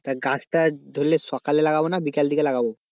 তা গাছটা ধরলে সকালের দিকে লাগাবো না বিকালের দিকে লাগাবো?